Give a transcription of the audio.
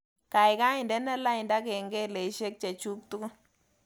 Gaigai indene lainda kengeleshek chechuk tugul